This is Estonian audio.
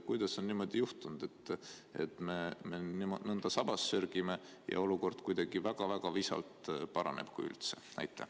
Kuidas on niimoodi juhtunud, et me nõnda sabas sörgime ja olukord kuidagi väga visalt paraneb, kui üldse?